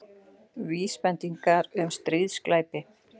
Vísbendingar um stríðsglæpi